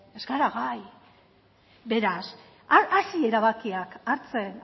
ez ez gara gai beraz hasi erabakiak hartzen